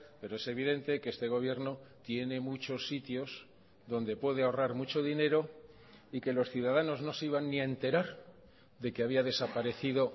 pero es evidente que este gobierno tiene muchos sitios donde puede ahorrar mucho dinero y que los ciudadanos no se iban ni a enterar de que había desaparecido